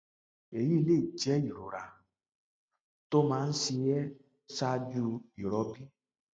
èyí lè jẹ ìrora tó máa ń ṣe ẹ ṣáájú ìrọbí